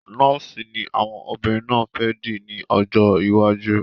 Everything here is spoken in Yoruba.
Nọ́ọ̀sì ni àwọn obìnrin náà fẹ́ dì ní ọjọ́ iwájú.